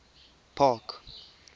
park